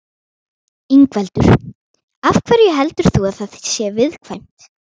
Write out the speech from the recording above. Ingveldur: Af hverju heldur þú að það sé viðkvæmt?